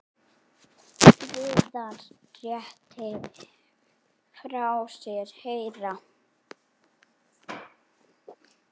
Viðar léti frá sér heyra.